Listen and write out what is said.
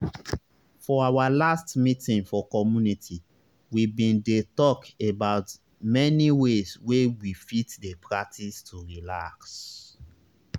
for our last meeting for community we bin dey talk about many ways wey we fit dey practice to relax